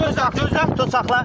Sən dur, gözlə, gözlə.